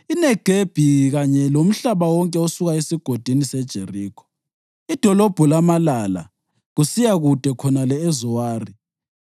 iNegebi kanye lomhlaba wonke osuka eSigodini seJerikho, iDolobho laMalala, kusiya kude khonale eZowari.